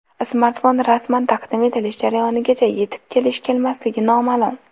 Smartfon rasman taqdim etilish jarayonigacha yetib kelish-kelmasligi noma’lum.